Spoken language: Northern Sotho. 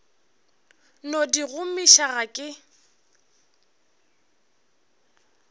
no di gomiša ga ke